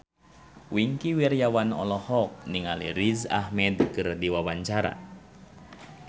Wingky Wiryawan olohok ningali Riz Ahmed keur diwawancara